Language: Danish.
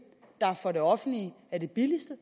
der for det offentlige er den billigste